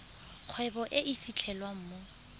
kgwebo e e fitlhelwang mo